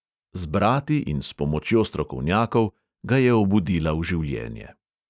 Z brati in s pomočjo strokovnjakov ga je obudila v življenje.